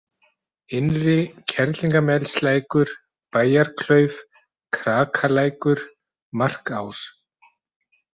Innri-Kerlingarmelslækur, Bæjarklauf, Krakalækur, Markás